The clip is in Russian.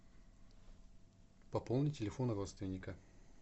пополни телефон родственника